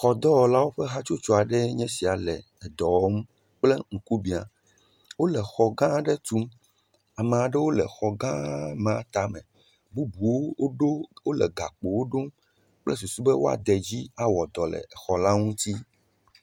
Xɔdɔwɔlawo ƒe hatsotso aɖee nye sia le edɔ wɔm kple ŋkubia. Wo le xɔ gã aɖe tum. Ame aɖewo le xɔ gã ma tame. Bubuwo woɖo wo le gakpowo ɖom kple susu be woade edzi awɔ dɔ le xɔ la ŋuti.